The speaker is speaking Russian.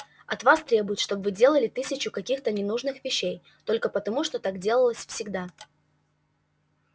от вас требуют чтобы вы делали тысячу каких-то ненужных вещей только потому что так делалось всегда